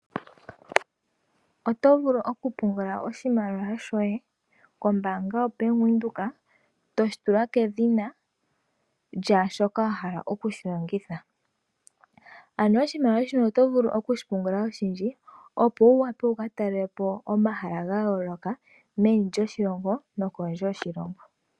Oto vulu oku pungula oshimaliwa shoye kombaanga yo Bank Windhoek. Eto shi tula kedhina lyaa sho wahala okushi longitha. Oto vulu oku pungula oshimaliwa oshindji opo wuvule oku ka talelapo omahala ga yooloka meni lyoshilongo nokondje yoshilongo.